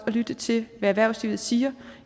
at lytte til hvad erhvervslivet siger